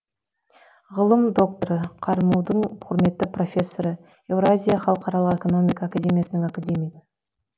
ғылым докторы қарму дың құрметті профессоры еуразия халықаралық экономика академиясының академигі